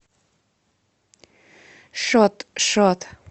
шот шот